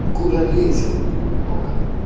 куралесил много